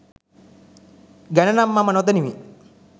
ගැනනම් මම නොදනිමි